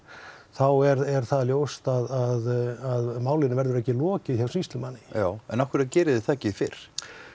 þá er það ljóst að málinu verður ekki lokið hjá sýslumanni en af hverju geriði það ekki fyrr